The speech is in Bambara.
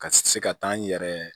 Ka se ka taa n yɛrɛ